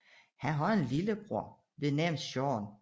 Han har en lillebror ved navn Sean